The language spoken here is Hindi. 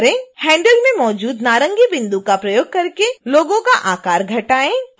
handle में मौजूद नारंगी बिंदु का प्रयोग करके लोगो का आकार घटाएँ